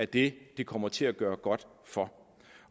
det det kommer til at gøre godt for